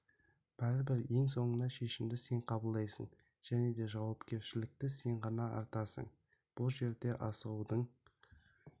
бәрібір ең соңында шешіміді сен қабылдайсын және де жауапкершілікті сен ғана артасын бұл жерде асығудың